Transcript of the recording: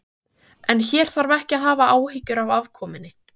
En hér þarf ekki að hafa áhyggjur af afkomunni.